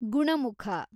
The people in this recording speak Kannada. ಗುಣಮುಖ